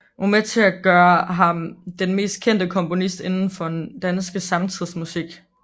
Det var med til at gøre ham til den mest kendte komponist inden for den danske samtidsmusik